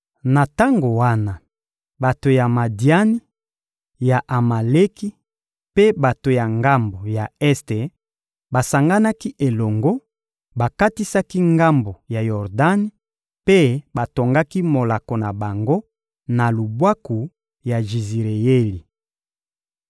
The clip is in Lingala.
Na tango wana, bato ya Madiani, ya Amaleki mpe bato ya ngambo ya este basanganaki elongo, bakatisaki ngambo ya Yordani mpe batongaki molako na bango na lubwaku ya Jizireyeli.